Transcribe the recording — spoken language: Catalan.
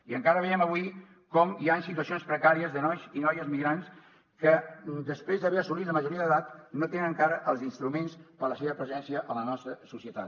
i encara veiem avui com hi han situacions precàries de nois i noies migrants que després d’haver assolit la majoria d’edat no tenen encara els instruments per a la seva presència a la nostra societat